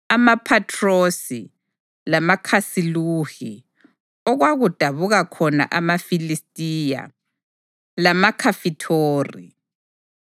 amaPhathrosi, lamaKhasiluhi (okwadabuka khona amaFilistiya) lamaKhafithori.